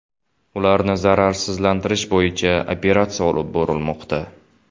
Ularni zararsizlantirish bo‘yicha operatsiya olib borilmoqda.